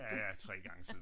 Ja ja 3 gange siden da